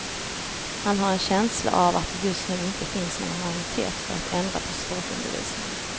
Han har själv en känsla av att det just nu inte finns någon majoritet för att ändra på språkundervisningen.